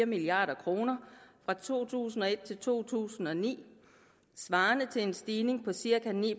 milliard kroner fra to tusind og et til to tusind og ni svarende til en stigning på cirka ni